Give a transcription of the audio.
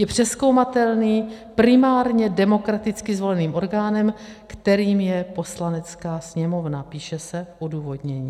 "Je přezkoumatelný primárně demokraticky zvoleným orgánem, kterým je Poslanecká sněmovna," píše se v odůvodnění.